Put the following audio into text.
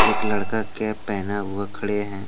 एक लड़का कैप पहना हुआ खड़े हैं।